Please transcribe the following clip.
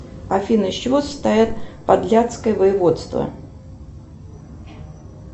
афина из чего состоят подляское воеводство